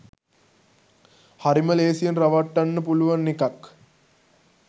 හරිම ලේසියෙන් රවට්ටන්න පුළුවන් එකක්